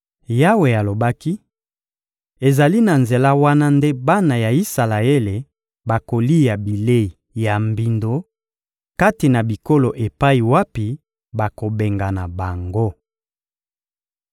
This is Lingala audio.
Yawe alobaki: — Ezali na nzela wana nde bana ya Isalaele bakolia bilei ya mbindo kati na bikolo epai wapi nakobengana bango.